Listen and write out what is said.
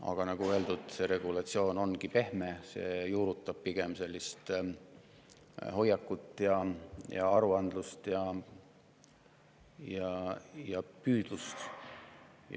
Aga nagu öeldud, see regulatsioon on pehme, see juurutab pigem hoiakuid, aruandlust ja püüdlust.